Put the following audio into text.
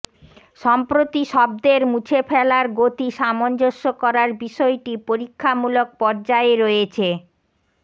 সম্প্রতি শব্দের মুছে ফেলার গতি সামঞ্জস্য করার বিষয়টি পরীক্ষামূলক পর্যায়ে রয়েছে